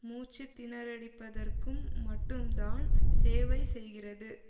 மூச்சுத்திணறடிப்பதற்கும் மட்டும்தான் சேவை செய்கிறது